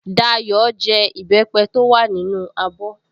Dayọ̀ jẹ ìbẹ́pẹ́ tó wà nínú abọ́